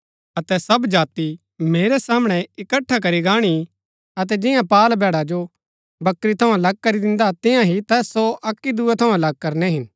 अतै सब जाति मेरै सामणै इकट्ठा करी गाणी अतै जियां पाअल भैड़ा जो बकरी थऊँ अलग करी दिन्दा तिईआं ही तैस सो अक्की दूये थऊँ अलग करनै हिन